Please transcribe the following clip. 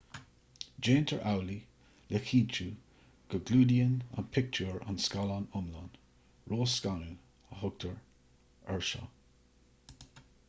déantar amhlaidh le cinntiú go gclúdaíonn an pictiúr an scáileán iomlán ró-scanadh a thugtar air seo